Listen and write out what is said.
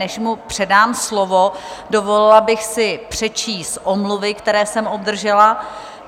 Než mu předám slovo, dovolila bych si přečíst omluvy, které jsem obdržela.